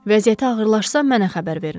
Vəziyyəti ağırlaşsa, mənə xəbər verin.